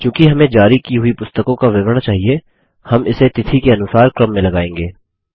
चूँकि हमें जारी की हुई पुस्तकों का विवरण चाहिए हम इसे तिथि के अनुसार क्रम में लगाएँगे